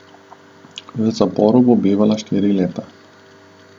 V zaporu bo bivala štiri leta.